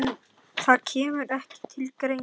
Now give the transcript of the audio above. Það kemur ekki til greina